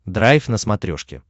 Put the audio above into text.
драйв на смотрешке